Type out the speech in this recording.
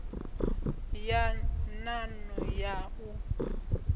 ya nan o ya u